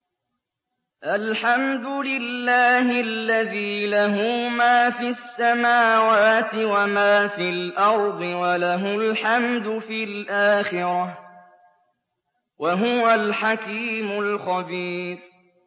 الْحَمْدُ لِلَّهِ الَّذِي لَهُ مَا فِي السَّمَاوَاتِ وَمَا فِي الْأَرْضِ وَلَهُ الْحَمْدُ فِي الْآخِرَةِ ۚ وَهُوَ الْحَكِيمُ الْخَبِيرُ